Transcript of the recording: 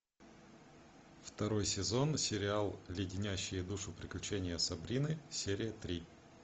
второй сезон сериал леденящие душу приключения сабрины серия три